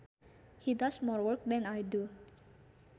He does more work than I do